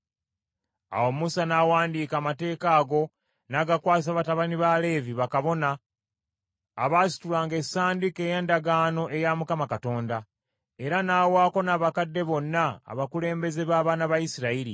Awo Musa n’awandiika amateeka ago, n’agakwasa batabani ba Leevi, bakabona, abaasitulanga Essanduuko ey’Endagaano eya Mukama Katonda, era n’awaako n’abakadde bonna abakulembeze b’abaana ba Isirayiri.